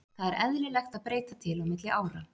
Það er eðlilegt að breyta til á milli ára.